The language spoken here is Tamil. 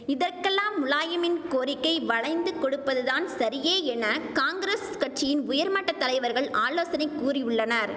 இதற்கெல்லாம் முலாயமின் கோரிக்கை வளைந்து கொடுப்பது தான் சரியே என காங்கிரஸ் கட்சியின் உயர்மட்ட தலைவர்கள் ஆலோசனை கூறியுள்ளனர்